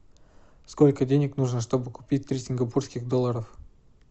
сколько денег нужно чтобы купить три сингапурских долларов